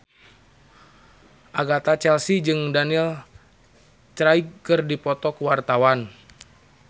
Agatha Chelsea jeung Daniel Craig keur dipoto ku wartawan